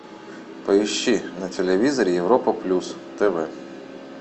поищи на телевизоре европа плюс тв